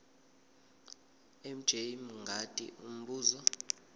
mj mngadi umbuzo